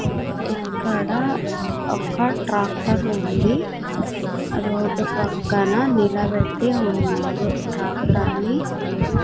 ఇక్కడ ఒక ట్రాక్టర్ ఉంది రోడ్డు పక్కన నిలబెట్టి ఉన్నారు ట్రాక్టర్ ని --